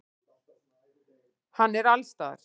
Hann er allsstaðar.